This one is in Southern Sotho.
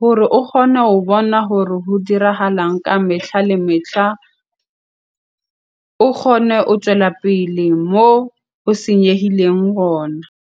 hore o kgone ho bona hore ho dirahalang ka metlha le metlha. O kgone o tswela pele mo o senyehileng gona.